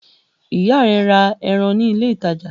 Ìyá rẹ ra ẹran ní ilé-ìtajà?